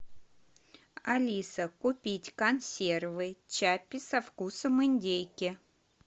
алиса купить консервы чаппи со вкусом индейки